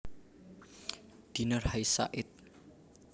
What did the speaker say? Diner Hasia ed